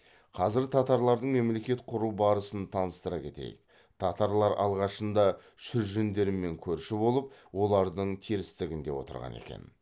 қазір татарлардың мемлекет құру барысын таныстыра кетейік татарлар алғашында шүржендермен көрші болып олардың терістігінде отырған екен